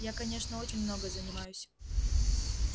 я конечно очень много занимаюсь